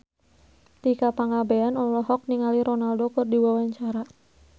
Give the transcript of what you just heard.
Tika Pangabean olohok ningali Ronaldo keur diwawancara